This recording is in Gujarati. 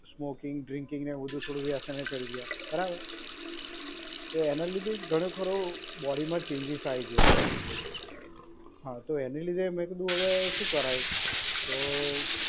સ્મોકીંગ, ડ્રિંકિંગ ને એવું બધુ થોડું વ્યસને ચડી ગયા. બરાબર. તો એનાં લીધે ઘણો ખરો બોડીમાં ચેંજીસ આઈ ગયો છે. હા, તો એને લીધે મેં કીધું હવે શું કરાય?